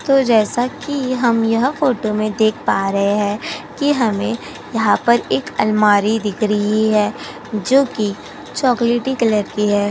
तो जैसा कि हम यह फ़ोटो में देख पा रहे हैं कि हमें यहाँ पर एक अलमारी दिख रही है जोकि चॉकलेटी कलर की है।